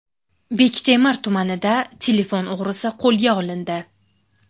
Bektemir tumanida telefon o‘g‘risi qo‘lga olindi.